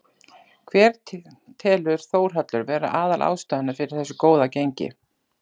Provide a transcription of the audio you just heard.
Hver telur Þórhallur vera aðal ástæðuna fyrir þessu góða gengi?